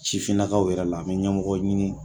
Sifin nakaw yɛrɛ la n bɛ ɲɛmɔgɔ ɲini